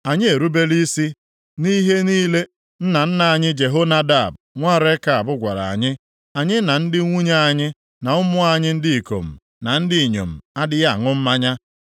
Anyị erubela isi nʼihe niile nna nna anyị Jehonadab nwa Rekab gwara anyị. Anyị na ndị nwunye anyị na ụmụ anyị ndị ikom na ndị inyom adịghị aṅụ mmanya,